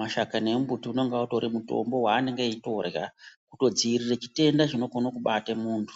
Mashakani embuti unenge utori mutombo waanenge eitorya kutodzivirire chitenda chinokono kubata muntu.